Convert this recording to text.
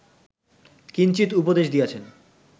কিঞ্চিৎ উপদেশ দিয়াছেন